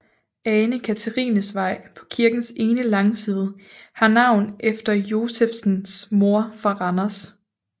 Ane Katrines Vej på kirkens ene langside har navn efter Josephsens mor fra Randers